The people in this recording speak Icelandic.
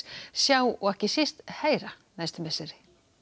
sjá og ekki síst heyra næstu misseri